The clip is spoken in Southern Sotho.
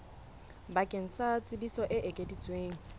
bakeng sa tsebiso e ekeditsweng